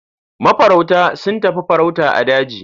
Mafarauta sun tafi farauta a daji.